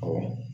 Awɔ